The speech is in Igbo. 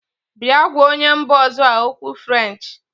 Bịa gwa onye mba ọzọ a okwu french!.